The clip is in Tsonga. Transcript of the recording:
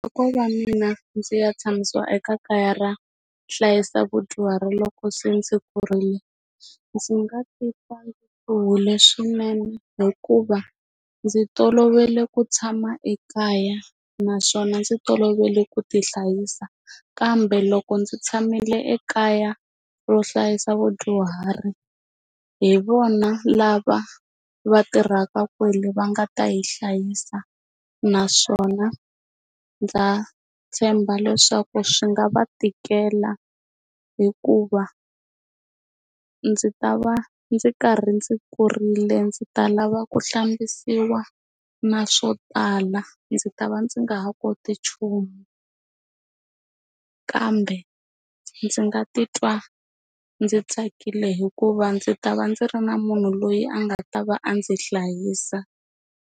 Loko ko va mina ndzi ya tshamisa eka kaya ra hlayisa vadyuhari loko se ndzi kurile ndzi nga titwa ndzi humile swinene hikuva ndzi toloverile ku tshama ekaya naswona ndzi tolovele ku ti hlayisa kambe loko ndzi tshamile ekaya ro hlayisa vadyuhari hi vona lava va tirhaka kwale va nga ta yi hlayisa naswona ndza tshemba leswaku swi nga va tikela hikuva ndzi ta va ndzi karhi ndzi kurile ndzi ta lava ku hlambisiwa na swo tala laha ndzi ta va ndzi nga ha koti nchumu kambe ndzi nga titwa ndzi tsakile hikuva ndzi ta va ndzi ri na munhu loyi a nga ta va a ndzi hlayisa.